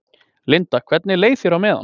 Linda: Hvernig leið þér á meðan?